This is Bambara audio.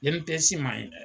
INPS ma ɲi dɛ